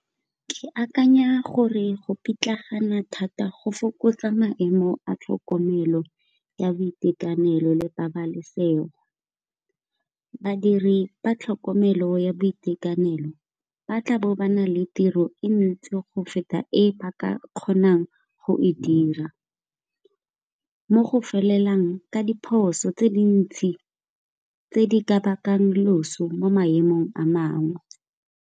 Ke akanya gore go pitlagana thata go fokotsa maemo a tlhokomelo ya boitekanelo le pabalesego. Badiri ba tlhokomelo ya boitekanelo batla bo bana le tiro e ntsi go feta e ba ka kgonang go e dira, mo go felelang ka diphoso tse dintsi tse di ka bakang loso mo maemong a mangwe.